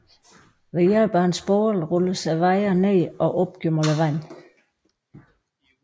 Ved hjælp af en spole rulles wiren ned og op gennem vandet